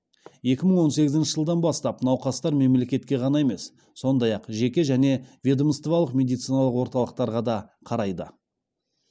екі мың он сегізінші жылдан бастап науқастар мемлекетке ғана емес сондай ақ жеке және ведомстволық медициналық орталықтарға да қарайды